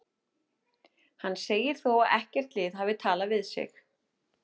Hann segir þó að ekkert lið hafi talað við sig.